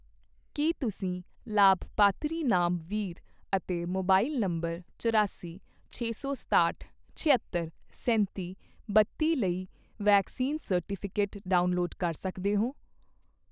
ਕੀ ਤੁਸੀਂ ਲਾਭਪਾਤਰੀ ਨਾਮ ਵੀਰ ਅਤੇ ਮੋਬਾਈਲ ਨੰਬਰ ਚੁਰਾਸੀ, ਛੇ ਸੌ ਸਤਾਹਠ, ਛਿਅੱਤਰ, ਸੈਂਤੀ, ਬੱਤੀ ਲਈ ਵੈਕਸੀਨ ਸਰਟੀਫਿਕੇਟ ਡਾਊਨਲੋਡ ਕਰ ਸਕਦੇ ਹੋ?